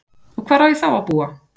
Og hvar á ég þá að búa?